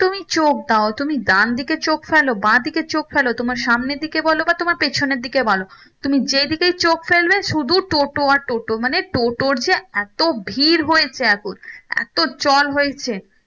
তুমি চোখ দাও তুমি ডানদিকে চোখ ফেলো বাদীকে চোখ ফেলো তোমার সামনে দিকে বলো বা তোমার পেছনের দিকে বলো তুমি যেইদিকেই চোখ ফেলবে শুধু টোটো আর টোটো মানে টোটোর যে এতো ভিড় হয়েছে এখন এতো চল হয়েছে